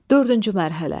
Dördüncü mərhələ.